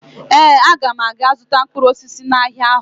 Ee, aga m aga zụta mkpụrụ osisi n'ahịa ahụ